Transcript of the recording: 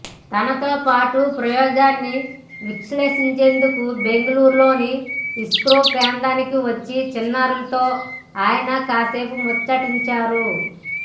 తనతో పాటు ప్రయోగాన్ని వీక్షించేందుకు బెంగళూరులోని ఇస్రో కేంద్రానికి వచ్చిన చిన్నారులతో ఆయన కాసేపు ముచ్చటించారు